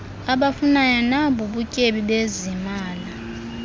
abafunayo nabubutyebi bezimali